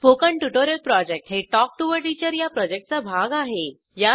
spoken tutorial project हे talk to teacher या प्रॉजेक्टचा भाग आहे